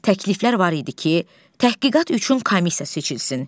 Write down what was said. Təkliflər var idi ki, təhqiqat üçün komissiya seçilsin.